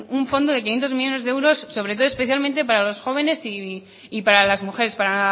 un fondo de quinientos millónes de euros sobre todo y especialmente para los jóvenes y para las mujeres para